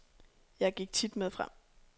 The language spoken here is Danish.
Jeg gik tit med frem.